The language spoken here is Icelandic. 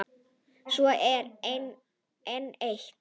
Svo er enn eitt.